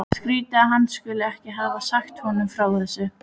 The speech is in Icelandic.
Skrýtið að hann skuli ekki hafa sagt honum frá þessu.